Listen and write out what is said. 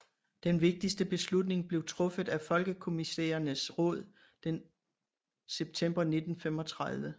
Den vigtige beslutning blev truffet af Folkekommissærernes råd den september 1935